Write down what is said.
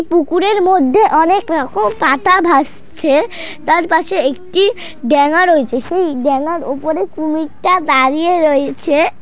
পুকুরের মধ্যে অনেক রকম পাতা ভাসছে তার পাশে একটি ড্যাঙ্গা রয়েছে সেই ড্যাঙ্গার ওপরে কুমিরটা দাঁড়িয়ে রয়েছে ।